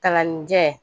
Kalannijɛn